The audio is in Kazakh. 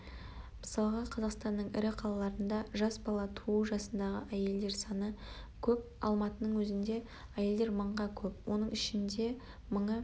мысалға-қазақстанның ірі қалаларында жас бала туу жасындағы әйелдер саны көп алматының өзінде әйелдер мыңға көп оның ішінде мыңы